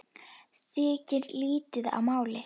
Þykir lýti á máli.